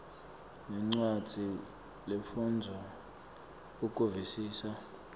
nencwadzi lefundvwako ukuvisisa